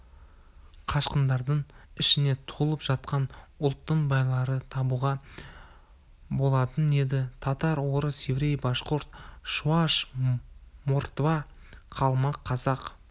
қашқындардың ішінен толып жатқан ұлттың байларын табуға болатын еді татар орыс еврей башқұрт шуаш мордва қалмақ қазақ